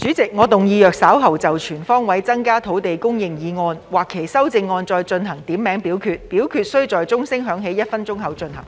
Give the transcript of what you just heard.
主席，我動議若稍後就"全方位增加土地供應"所提出的議案或其修正案進行點名表決，表決須在鐘聲響起1分鐘後進行。